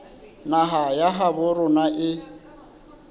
naha ya habo rona e